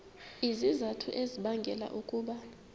izizathu ezibangela ukuba